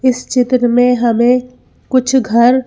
इस चित्र में हमें कुछ घर--